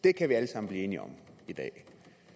det kan vi alle sammen blive enige om i dag